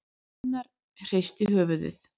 Gunnar hristi höfuðið.